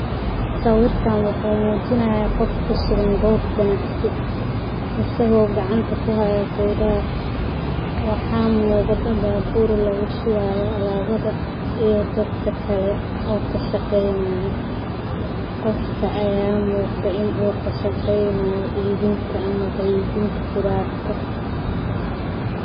Sawirkan wuxu mujinaya gof kusugan goob qanacsi, isago gacanta kuxayo qudhar, waxa muqda babur lagushuwayo alabada iyo dadka kale oo kashaqeynaya, gofka aya muqda inu kashaqeynayo ibinta ama qeybinta qudarta.